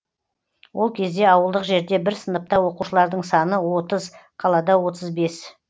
ол кезде ауылдық жерде бір сыныпта оқушылардың саны отыз қалада отыз бес